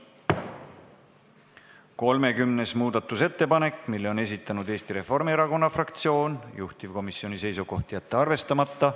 30. muudatusettepaneku on esitanud Eesti Reformierakonna fraktsioon, juhtivkomisjoni seisukoht: jätta see arvestamata.